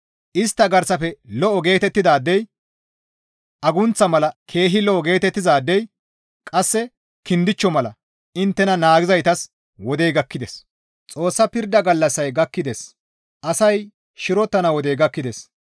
Istta garsafe lo7o geetettidaadey agunththa mala keehi lo7o geetettizaadey qasse kindichcho mala inttena naagizaytas wodey gakkides; Xoossa pirda gallassay gakkides; asay shirotana wodey gakkides;